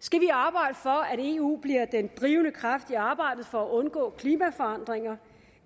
skal vi arbejde for at eu bliver den drivende kraft i arbejdet for at undgå klimaforandringer